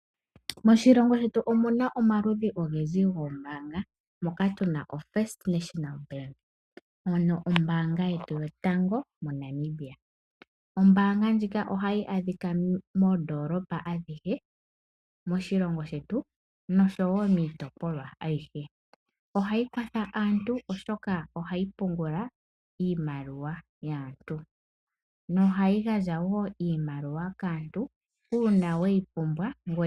Moshiongo shetu omu na omaludhi ogendji goombaanga moka tu na oFirst National Bank, ano ombaanga yotango yopashigwana. Ombaanga ndjika ohayi adhika moondoolopa adhihe moshilongo shetu noshowo moondoolopa adhihe. Ohayi kwatha aantu, oshoka ohayi pungula iimaliwa yaantu nohayi gandja wo iimaliwa kaantu uuna we yi pumbwa.